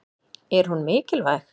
Er hún mikilvæg?